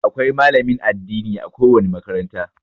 Akwai malamin addini a ko wani makaranta.